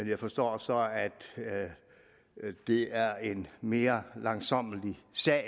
jeg forstår så at det er en mere langsommelig sag